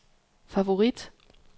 favorit